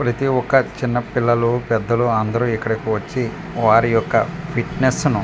ప్రతి ఒక్క చిన్న పిల్లలు పెద్దలు అందరూ ఇక్కడికి వచ్చి వారి యొక్క ఫిట్నెస్ ను.